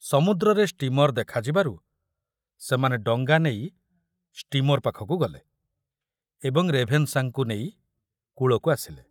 ସମୁଦ୍ରରେ ଷ୍ଟୀମର ଦେଖାଯିବାରୁ ସେମାନେ ଡଙ୍ଗା ନେଇ ଷ୍ଟୀମର ପାଖକୁ ଗଲେ ଏବଂ ରେଭେନଶାଙ୍କୁ ନେଇ କୂଳକୁ ଆସିଲେ।